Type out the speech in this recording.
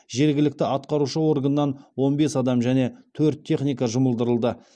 жергілікті атқарушы органнан он бес адам және төрт техника жұмылдырылды